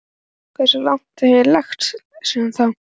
Hversu lágt hef ég lagst síðan þá?